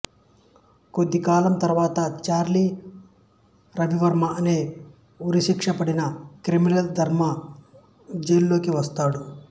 కొద్దికాలం తరువాత చార్లీ రవివర్మ అనే ఉరిశిక్ష పడిన క్రిమినల్ ధర్మ జైలులోకి వస్తాడు